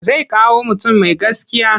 Zai kawo mutum mai gaskiya.